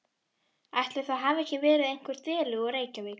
Ætli það hafi ekki verið einhver deli úr Reykjavík.